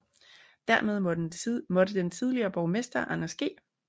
Dermed måtte den tidligere borgmester Anders G